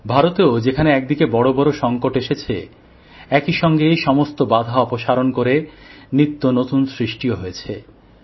ভারতেও যেখানে একদিকে বিশাল বিশাল সংকট এসেছে একই সঙ্গে সমস্ত বাধা অপসারণ করে নিত্য নতুন সৃষ্টিও হয়েছে